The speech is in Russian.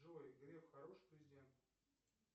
джой греф хороший президент